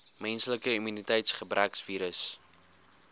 menslike immuniteitsgebrekvirus